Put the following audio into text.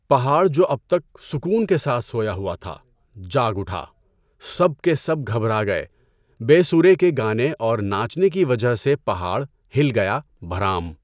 پہاڑ جو اب تک سکون کے ساتھ سویا ہوا تھا، جاگ اٹھا، سب کے سب گھبرا گئے بے اسورا گانے اور ناچنے کی وجہ سے پہاڑ ہل گیا بھرام!